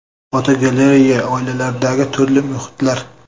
Fotogalereya: Oilalardagi turli muhitlar.